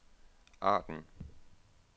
Arden